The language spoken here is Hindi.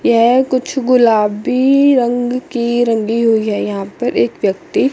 ये कुछ गुलाबी रंग की रंगी हुई है यहां पर एक व्यक्ति--